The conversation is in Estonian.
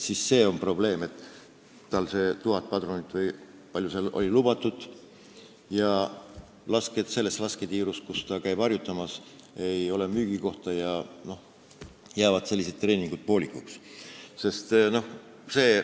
Siis tekib probleem, sest tal on tuhat padrunit või kui palju lubatud oligi, aga selles lasketiirus, kus ta käib harjutamas, ei ole müügikohta ja siis jäävad sellised treeningud poolikuks.